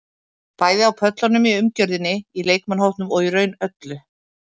Bæði á pöllunum, í umgjörðinni, í leikmannahópnum og í raun öllu.